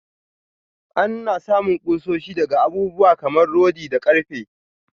Anna samun kushoshi daga abubuwa kamar rodi da karfe.